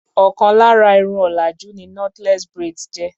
Ọ̀kan lára Irun òlàjú ni knotless braids jẹ́.